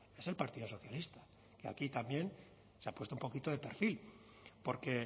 es el partido socialista que aquí también se ha puesto un poquito de perfil porque